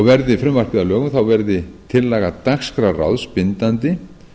verði frumvarpið að lögum verður tillaga dagskrárráðs bindandi